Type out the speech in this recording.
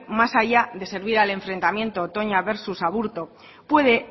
más allá de servir al enfrentamiento toña versus aburto puede